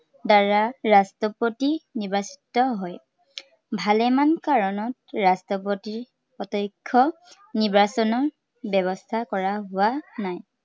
দ্বাৰা ৰাষ্ট্ৰপতিৰ নিৰ্বাচিত হয়। ভালেমান কাৰনত ৰাষ্ট্ৰপতিক প্ৰত্য়ক্ষ নিৰ্বাচনৰ ব্য়ৱস্থা কৰা হোৱা নাই।